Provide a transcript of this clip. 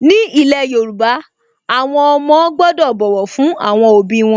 Ní ilẹ̀ Yorùbá, àwọn ọmọ gbọ́dọ̀ bọ̀wọ̀ fún àwọn òbí wọn